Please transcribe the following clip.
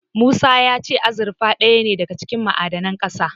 Musa ya ce azurfa ɗaya ne daga cikin ma'adanan ƙasa.